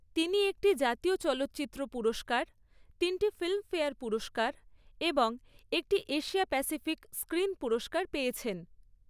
তিনি একটি জাতীয় চলচ্চিত্র পুরস্কার, তিনটি ফিল্মফেয়ার পুরস্কার এবং একটি এশিয়া প্যাসিফিক স্ক্রিন পুরস্কার পেয়েছেন।